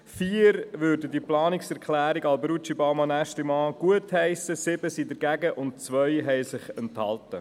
4 Stimmen würden die Planungserklärung Alberucci/Baumann/Aeschlimann gutheissen, 7 waren dagegen und 2 haben sich der Stimme enthalten.